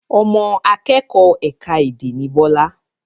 Ọmọ akẹ́kọ̀ ẹ̀ka èdè ni Bọlá